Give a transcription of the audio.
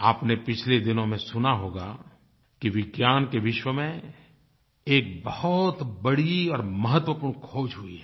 आपने पिछले दिनों में सुना होगा कि विज्ञान के विश्व में एक बहुत बड़ी और महत्वपूर्ण ख़ोज हुई है